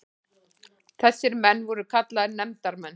Þessir menn voru kallaðir nefndarmenn.